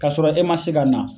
K 'a sɔrɔ e ma se ka na.